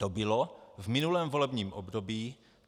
To bylo v minulém volebním období.